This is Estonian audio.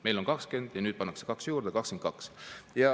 Meil on 20% ja nüüd pannakse kaks juurde: 22.